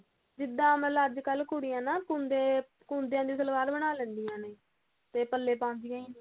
ਜਿੱਦਾਂ ਮਤਲਬ ਅੱਜਕਲ ਨਾ ਕੁੜੀਆਂ ਕੁੰਡੇ ਕੁੰਡੀਆਂ ਦੀ ਸਲਵਾਰ ਬਣਾ ਲੈਂਦੀਆਂ ਨੇ ਤੇ ਪੱਲੇ ਪਾਂਦੀਆਂ ਹੀ ਨੀ